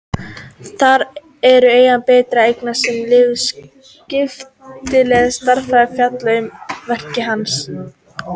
Þar eru einnig birtar greinar sem Leifur skrifaði um stærðfræði og fjallað um verk hans.